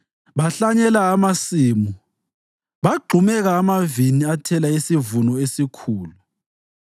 Bahlanyela amasimu, bagxumeka amavini athela isivuno esikhulu;